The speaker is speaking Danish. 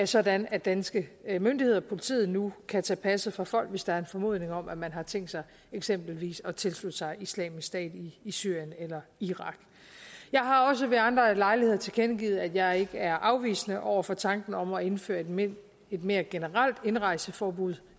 sådan at danske myndigheder og politiet nu kan tage passet fra folk hvis der er en formodning om at man har tænkt sig eksempelvis at tilslutte sig islamisk stat i syrien eller irak jeg har også ved andre lejligheder tilkendegivet at jeg ikke er afvisende over for tanken om at indføre et mere et mere generelt indrejseforbud